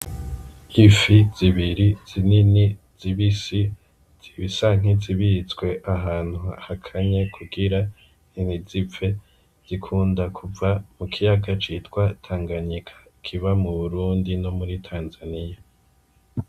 Ifi zibiri zinini zibisi zisa nkizibitswe ahantu hakanye kugira ntizipfe zikunda kuva mu kiyaga citwa tanganyika kiba mu burundi no muri tanzania.